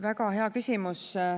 Väga hea küsimus.